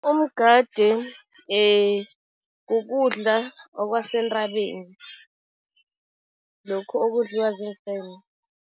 Umgade kukudla okwasentabeni, lokhu okudliwa ziimfene.